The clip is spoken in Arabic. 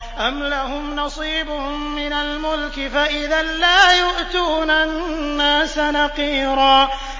أَمْ لَهُمْ نَصِيبٌ مِّنَ الْمُلْكِ فَإِذًا لَّا يُؤْتُونَ النَّاسَ نَقِيرًا